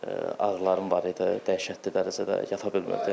Ağrılarım var idi, dəhşətli dərəcədə, yata bilmirdim.